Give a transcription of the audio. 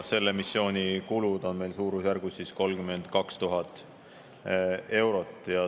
Selle missiooni kulud on suurusjärgus 32 000 eurot.